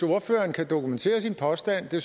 ordføreren kan dokumentere sin påstand jeg